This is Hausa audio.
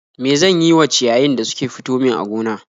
Me zan yi wa ciyayin da suke fito min a gona